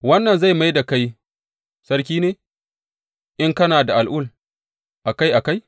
Wannan zai mai da kai sarki ne in kana da al’ul a kai a kai?